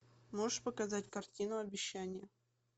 можешь показать картину обещание